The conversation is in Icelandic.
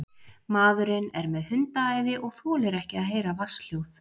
Maðurinn er með hundaæði og þolir ekki að heyra vatnshljóð.